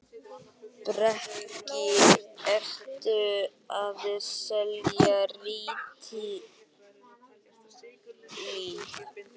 Breki: Ertu að selja rítalín?